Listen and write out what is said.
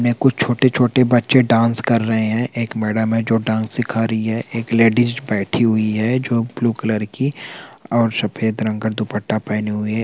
कुछ छोटे-छोटे बच्चे डांस कर रहे है एक मैडम है जो डांस सीखा रही है एक लेडीज बैठी हुई है जो ब्लू कलर की और सफ़ेद रंग का दुपट्टा पहनी हुई है।